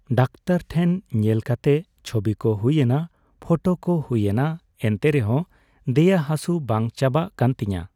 Doctor ᱴᱷᱮᱱ ᱧᱮᱞ ᱠᱟᱛᱮ ᱪᱷᱚᱵᱤ ᱠᱚ ᱦᱩᱭᱮᱱᱟ ᱯᱷᱚᱴᱚ ᱠᱚ ᱦᱩᱭ.ᱮᱱᱟ ᱮᱱᱛᱮᱨᱮᱦᱚᱸ ᱫᱮᱭᱟ ᱦᱟᱥᱩ ᱵᱟᱝ ᱪᱟᱵᱟᱜ ᱠᱟᱱ ᱛᱤᱧᱟᱹ᱾